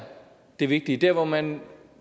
det vigtige der hvor man